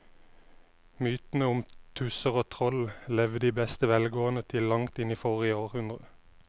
Mytene om tusser og troll levde i beste velgående til langt inn i forrige århundre.